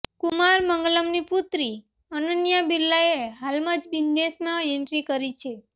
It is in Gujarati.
કુમાર મંગલમની પુત્રી અનન્યા બિરલાએ હાલમાં જ બિઝનેસમાં એન્ટ્રી કરી છે